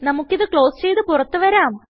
നമുക്കിത് ക്ലോസ് ചെയ്ത് പുറത്ത് വരാം